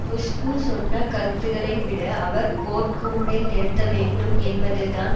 குஷ்பு சொன்ன கருத்துக்களை விட அவர் கோர்ட் கூண்டில் நிறுத்த வேண்டும் என்பதில் தான்